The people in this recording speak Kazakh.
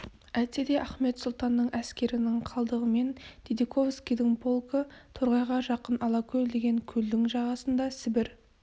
әйтсе де ахмет сұлтанның әскерінің қалдығымен дидиковскийдің полкі тор- ғайға жақын алакөл деген көлдің жағасында сібір